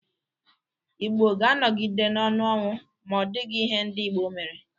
Igbo ga-anọgide n'ọnụ ọnwụ ma ọdịghi ihe ndị Igbo mere.